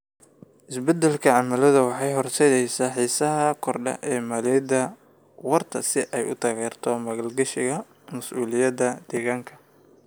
Isbeddelka cimiladu waxay horseedaysaa xiisaha korodhka ee maaliyadda waarta si ay u taageerto maalgashiga mas'uuliyadda deegaanka.